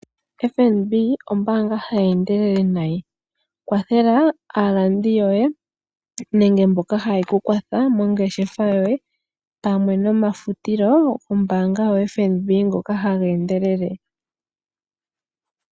FNB ombaanga hayi endelele nayi, kwathela aalandi yoye nenge mboka haye ku kwatha mongeshefa yoye pamwe nomafutilo gombaanga yoFNB ngoka haga endelele.